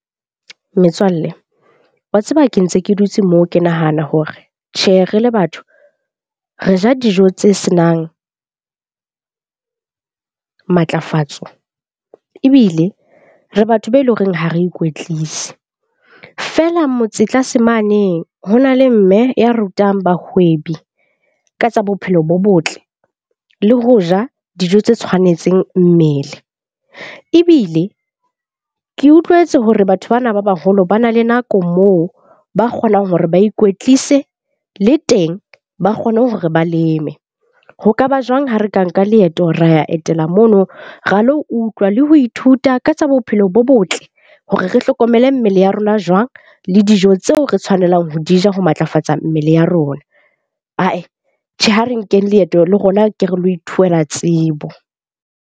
Metswalle wa tseba ke ntse ke dutse moo ke nahana hore tjhe re le batho re ja dijo tse senang matlafatsa. Ebile re batho be eleng horeng ha re ikwetlise feela motse tlase mane. Ho na le mme ya rutang bahwebi ka tsa bophelo bo botle le ho ja dijo tse tshwanetseng mmele. Ebile ke utlwetse hore batho bana ba baholo ba na le nako moo ba kgonang hore ba ikwetlise le teng ba kgone hore ba leme. Ho kaba jwang ha re ka nka leeto ra ya etela mono ra lo utlwa le ho ithuta ka tsa bophelo bo botle, hore re hlokomele mmele ya rona jwang le dijo tseo re tshwanelang ho di ja, ho matlafatsa mmele ya rona. Tjhe, ha re nkeng leeto le rona ke re lo tsebo.